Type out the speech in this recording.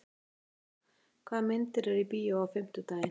Bergþóra, hvaða myndir eru í bíó á fimmtudaginn?